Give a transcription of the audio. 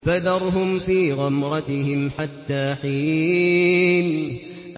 فَذَرْهُمْ فِي غَمْرَتِهِمْ حَتَّىٰ حِينٍ